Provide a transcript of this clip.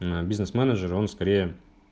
ээ бизнес-менеджер он скорее